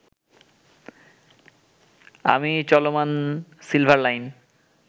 আমি চলমান silver line